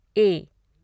ए